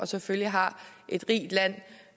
selvfølgelig har